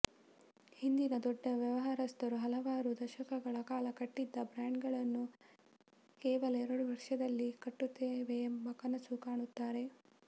ಹಿಂದಿನ ದೊಡ್ಡ ವ್ಯವಹಾರಸ್ಥರು ಹಲವಾರು ದಶಕಗಳ ಕಾಲ ಕಟ್ಟಿಿದ ಬ್ರಾಾಂಡ್ಗಳನ್ನು ಕೇವಲ ಎರಡು ವರ್ಷದಲ್ಲಿ ಕಟ್ಟುತ್ತೇವೆಂಬ ಕನಸು ಕಾಣುತ್ತಾಾರೆ